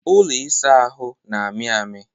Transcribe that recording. ụlọ ịsa ahụ na-amị amị